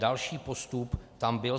Další postup tam byl.